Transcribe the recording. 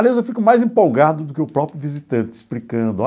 Aliás, eu fico mais empolgado do que o próprio visitante explicando.